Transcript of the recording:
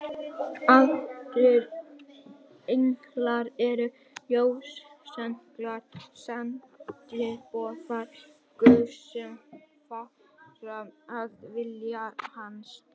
Aðrir englar eru ljósenglar, sendiboðar Guðs, sem fara að vilja hans.